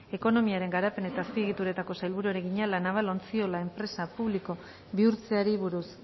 ekonomiaren garapen eta azpiegituretako sailburuari egina la naval ontziola enpresa publikoa bihurtzeari buruz